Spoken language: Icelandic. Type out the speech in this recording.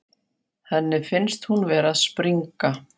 Henni finnst hún vera að springa.